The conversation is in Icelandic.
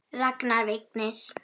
Ragnar Vignir.